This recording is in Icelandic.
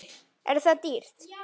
Er það dýrt?